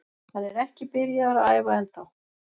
Hann er ekki byrjaður að æfa ennþá.